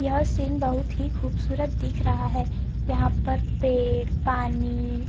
यह सीन बहुत ही खूबसूरत दिख रहा है यहाँ पर पेड़ पानी।